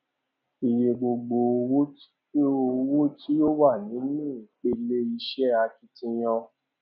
iye gbogbo owó tí ó owó tí ó wà nínú ìpele iṣẹ akitiyan